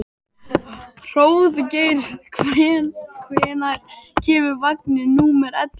Hróðgeir, hvenær kemur vagn númer ellefu?